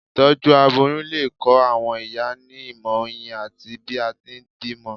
itọju aboyún le kọ àwọn ìyá ní ìmọ oyin ati bi a ti n bímọ